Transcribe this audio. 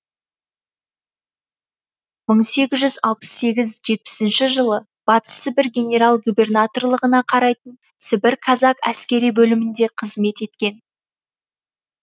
мың сегіз жүз алпыс сегіз жетпісінші жылы батыс сібір генерал губернаторлығына қарайтын сібір казак әскери бөлімінде қызмет еткен